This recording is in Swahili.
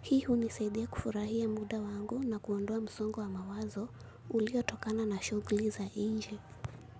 Hi hunisaidia kufurahia muda wangu na kuondoa msongo wa mawazo, ulio tokana na shughuli za inje.